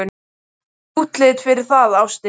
Það er útlit fyrir það, ástin.